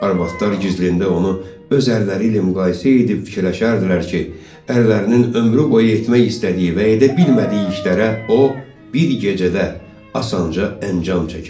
Arvadlar gizlində onu öz ərləri ilə müqayisə edib fikirləşərdilər ki, ərlərinin ömrü boyu etmək istədiyi və edə bilmədiyi işlərə o bir gecədə asanca əncam çəkərdi.